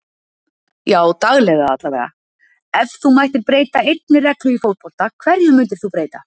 Já daglega allavega Ef þú mættir breyta einni reglu í fótbolta, hverju myndir þú breyta?